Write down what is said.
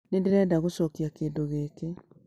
Nĩ ndĩrenda gũcokia kĩndũ gĩkĩ